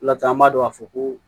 O laturu an b'a dɔn k'a fɔ ko